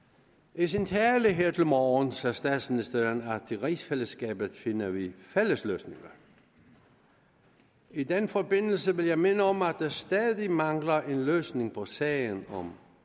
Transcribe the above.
i sin tale her til morgen sagde statsministeren at i rigsfællesskabet finder vi fælles løsninger i den forbindelse vil jeg minde om at der stadig mangler en løsning på sagen om